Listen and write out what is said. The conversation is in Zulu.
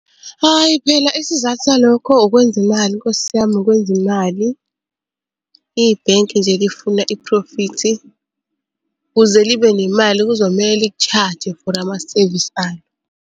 Hayi phela isizathu salokho ukwenza imali Nkosi yami ukwenza imali. Ibhenki nje lifuna iphrofithi ukuze libe nemali kuzomele liku-charge-e for amasevisi alo.